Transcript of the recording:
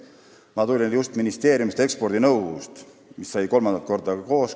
Ma tulin just ministeeriumi ekspordinõukogu juurest, mis sai kokku kolmandat korda.